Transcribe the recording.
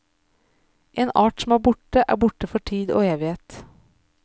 En art som er borte, er borte for tid og evighet.